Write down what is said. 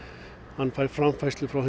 hann fær framfærslu frá